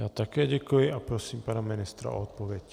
Já také děkuji a prosím pana ministra o odpověď.